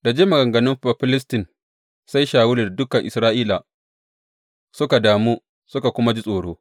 Da jin maganganun Bafilistin, sai Shawulu da dukan Isra’ila suka damu suka kuma ji tsoro.